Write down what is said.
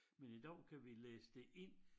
Men i dag kan vi læse det ind